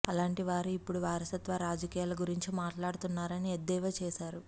అలాంటి వారి ఇప్పుడు వారసత్వ రాజకీయాల గురించి మాట్లాడుతున్నారని ఎద్దేవా చేశారు